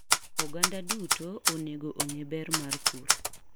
Oganda duto onego ong'e ber mar pur.